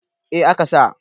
A ka sa